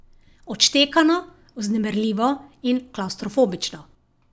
Odštekano, vznemirljivo in klavstrofobično.